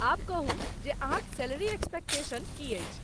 आब कहू जे अहाँक सैलरी एक्सपेक्टेशन की अछि?